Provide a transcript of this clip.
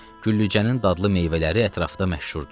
Güllücənin dadlı meyvələri ətrafda məşhurdur.